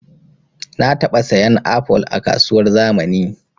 Na taɓa sayan apol a kasuwar zamani